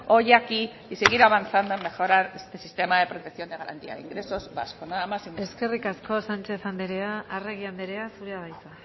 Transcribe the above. hoy aquí y seguir avanzando en mejorar ese sistema de protección de garantía de ingresos vasco nada más y muchas gracias eskerrik asko sánchez andrea arregi andrea zurea da hitza